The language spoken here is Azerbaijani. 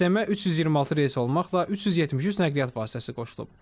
Sistemə 326 reys olmaqla 373 nəqliyyat vasitəsi qoşulub.